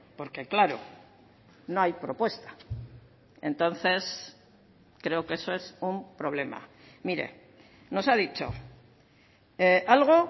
porque claro no hay propuesta entonces creo que eso es un problema mire nos ha dicho algo